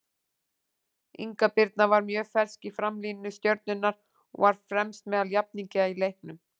Inga Birna var mjög fersk í framlínu Stjörnunnar og var fremst meðal jafningja í leiknum.